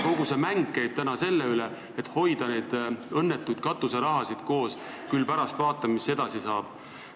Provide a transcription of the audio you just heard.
Kogu mäng käib täna selle üle, et hoida koos neid õnnetuid katuserahasid, ja küll pärast vaatame, mis edasi saab.